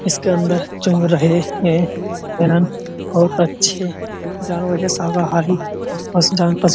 इसके अंदर चुन रहे है। बहुत अच्छे जानवर के --